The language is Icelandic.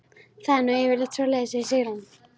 Það er nú yfirleitt svoleiðis, segir Sigrún.